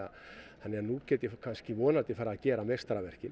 þannig að nú get ég vonandi farið að gera